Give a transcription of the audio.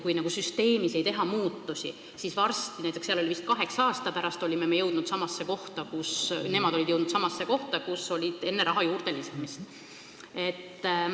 Kui süsteemis muudatusi ei tehta, siis varsti – seal oli vist kaheksa aasta pärast – ollakse jõudnud samasse kohta, kus oldi enne raha juurdeandmist.